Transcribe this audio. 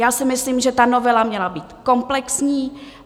Já si myslím, že ta novela měla být komplexní.